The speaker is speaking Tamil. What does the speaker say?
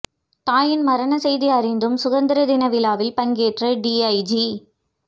தாயின் மரணச் செய்தி அறிந்தும் சுதந்திர தின விழாவில் பங்கேற்ற டிஐஜி